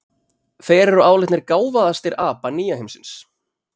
Þeir eru álitnir gáfaðastir apa nýja heimsins.